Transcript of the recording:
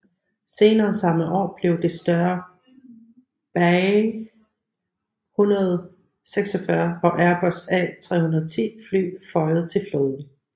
Senere samme år blev de større BAe 146 og Airbus A310 fly føjet til flåden